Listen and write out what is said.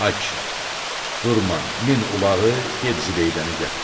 Ay kişi, durma, min ulağı, get Zibeydəni gətir.